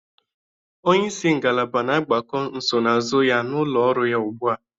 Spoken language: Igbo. Onye isi ngalaba na-agbakọ nsonaazụ ya n'ụlọ ọrụ ya ugbu a